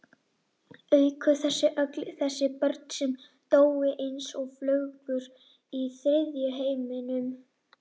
Auk þess öll þessi börn sem dóu eins og flugur í þriðja heiminum.